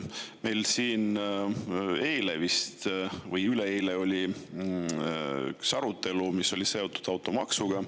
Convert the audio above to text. Meil siin eile või üleeile oli üks arutelu, mis oli seotud automaksuga.